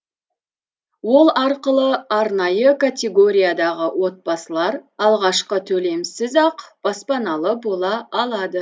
ол арқылы арнайы категориядағы отбасылар алғашқы төлемсіз ақ баспаналы бола алады